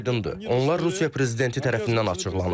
Şərtlərimiz aydındır, onlar Rusiya prezidenti tərəfindən açıqlanıb.